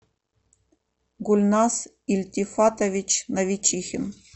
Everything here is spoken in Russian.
гульнас ильтифатович навичихин